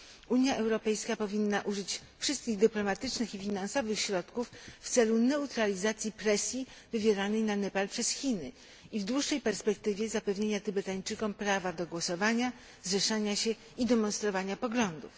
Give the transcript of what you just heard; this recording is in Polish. Unia Europejska powinna użyć wszystkich dyplomatycznych i finansowych środków w celu neutralizacji presji wywieranej na Nepal przez Chiny i w dłuższej perspektywie zapewnienia Tybetańczykom prawa do głosowania, zrzeszania się i demonstrowania poglądów.